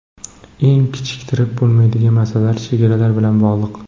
Eng kechiktirib bo‘lmaydigan masalalar chegaralar bilan bog‘liq.